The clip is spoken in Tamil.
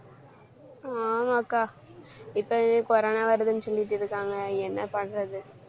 ஆமா அக்கா இப்பவே corona வருதுன்னு சொல்லிட்டிருக்காங்க என்ன பண்றது?